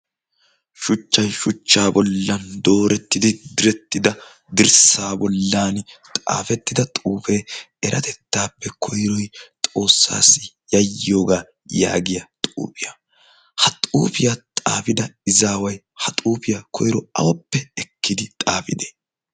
Shuchchayi shuchchaa bollan doorettidi direttida dirssaa bollan xaafettida xuufee eretettaappe koyroyi XOOSSAASSI yayyiyoga yaagiya xuufiya. Ha xuufiya xaafida xaafida izaaeayi ha xuufiya koyro awuppe ekkidi xaafidee?